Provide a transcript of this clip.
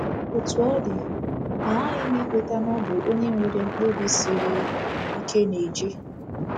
Otú ọ dị, aghaghị m ikweta na ọ bụ onye nwere mkpebi siri ike na-eje.